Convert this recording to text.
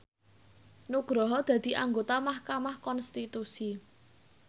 Nugroho dadi anggota mahkamah konstitusi